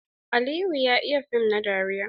Aliyu ya iya fim na dariya.